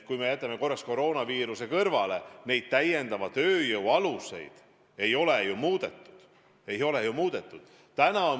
Kui me jätame korraks koroonaviiruse kõrvale, siis täiendava tööjõu kasutamise aluseid ei ole ju muudetud.